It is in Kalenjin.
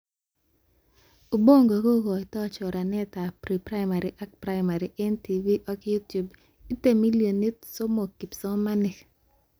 Ubongo kokoitoy choranetab pre-primary ak primary eng TV ak You Tube, ite millonit somok kipsomanink